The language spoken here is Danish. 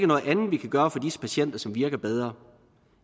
noget andet vi kan gøre for disse patienter som virker bedre